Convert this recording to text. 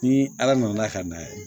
Ni ala nana ka na ye